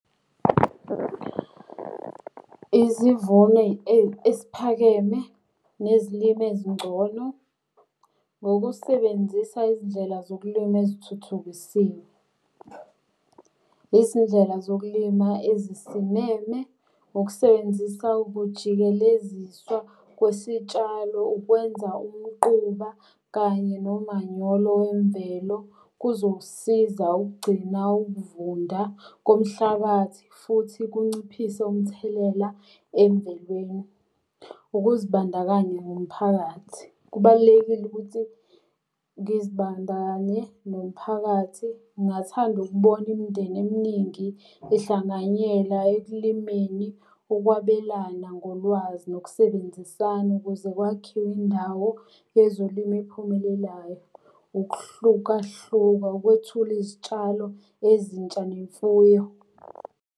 Izivuno esiphakeme nezilimo ezingcono, ngokusebenzisa izindlela zokulima ezithuthukisiwe. Izindlela zokulima ezisimeme, ukusebenzisa ukujikeleziswa kwesitshalo, ukwenza umquba kanye nomanyolo wemvelo kuzokusiza ukugcina ukuvunda komhlabathi futhi kunciphise umthelela emvelweni. Ukuzibandakanya nomphakathi, kubalulekile ukuthi ngizibandakanye nomphakathi. Ngingathanda ukubona imindeni eminingi ehlanganyela ekulimeni, ukwabelana ngolwazi nokusebenzisana ukuze kwakhiwe indawo yezolimo ephumelelayo. Ukuhlukahluka, ukwethula izitshalo ezintsha nemfuyo.